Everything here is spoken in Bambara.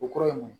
O kɔrɔ ye mun